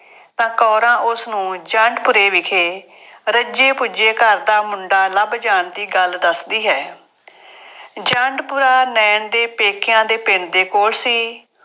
ਤਾਂ ਕੌਰਾਂ ਉਸਨੂੰ ਜੰਡਪੁਰੇ ਵਿਖੇ ਰੱਜੇ ਪੁੱਜੇ ਘਰ ਦਾ ਮੁੰਡਾ ਲੱਭ ਜਾਣ ਦੀ ਗੱਲ ਦੱਸਦੀ ਹੈ। ਜੰਡਪੁਰਾ ਨਾਇਣ ਦੇ ਪੇਕਿਆਂ ਦੇ ਪਿੰਡ ਦੇ ਕੋਲ ਸੀ।